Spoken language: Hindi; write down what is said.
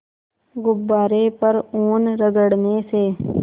गुब्बारे पर ऊन रगड़ने से